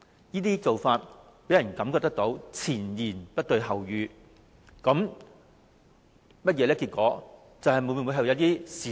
這種做法予人前言不對後語之感，當局有否隱瞞一些事實？